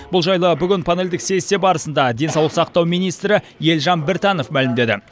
бұл жайлы бүгін панельдік сессия барысында денсаулық сақтау министрі елжан біртанов мәлімдеді